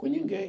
Com ninguém.